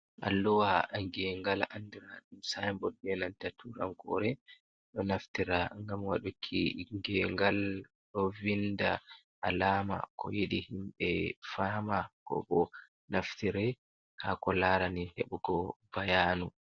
Alluwa gengal andira sainbod be nanta turankore ɗo naftira ngam waɗuki gengal ɗo vinda alama ko yiɗi himɓe fama ko bo naftire ha ko larani heɓugo bayanu.